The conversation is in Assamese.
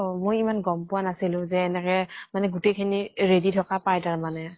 মই ইমান গম পোৱা নাছিলো যে এনেকে মানে গোতেই খিনি ready থকা পায় তাৰ মানে।